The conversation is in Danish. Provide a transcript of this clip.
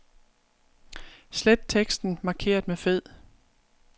Slet teksten markeret med fed.